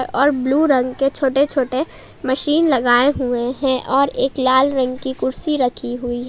और ब्लू रंग के छोटे छोटे मशीन लगाए हुए हैं और एक लाल रंग की कुर्सी रखी हुई--